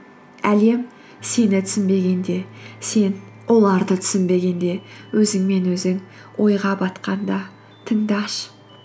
әлем сені түсінбегенде сен оларды түсінбегенде өзіңмен өзің ойға батқанда тыңдашы